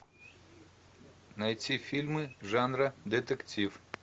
найти фильмы жанра детектив